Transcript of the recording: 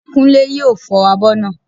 Kúnlé yóò fọ abọ́ naa